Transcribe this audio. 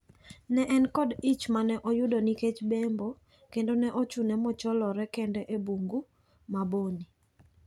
Ne en koda ich ma ne oyudo nikech bembo kendo ne ochune mocholore kende e Bungu ma Boni.